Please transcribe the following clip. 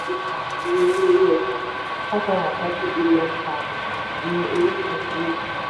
um iye owó orí ọjà five hundred and thirty billion pounds ni orísun owó. um